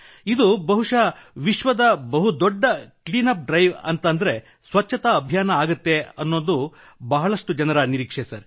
ಇದು ಬಹುಶಃ ವಿಶ್ವದ ಬಹುದೊಡ್ಡ ಕ್ಲೀನ್ ಅಪ್ ಡ್ರೈವ್ ಅಂದರೆ ಸ್ವಚ್ಛತಾ ಅಭಿಯಾನ ಆಗಲಿದೆ ಎಂದು ಬಹಳಷ್ಟು ಜನರು ಹೇಳಿದ್ದಾರೆ